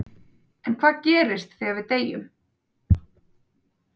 En hvað gerist þegar við deyjum?